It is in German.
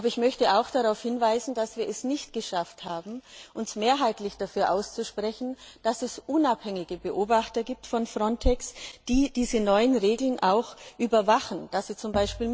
Aber ich möchte auch darauf hinweisen, dass wir es nicht geschafft haben, uns mehrheitlich dafür auszusprechen, dass es unabhängige Beobachter von FRONTEX gibt, die diese neuen Regeln auch überwachen und die z.